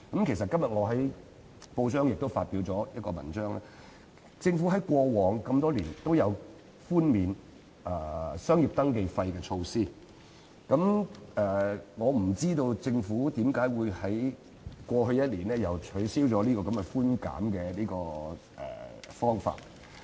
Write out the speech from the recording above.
其實，我今天在報章上發表了一篇文章，指出政府在過往多年也推出寬免商業登記費的措施，我不知道政府為何會在過去一年卻取消了這項寬減措施。